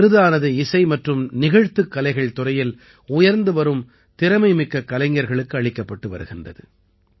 இந்த விருதானது இசை மற்றும் நிகழ்த்துக் கலைகள் துறையில் உயர்ந்துவரும் திறமைமிக்கக் கலைஞர்களுக்கு அளிக்கப்பட்டு வருகிறது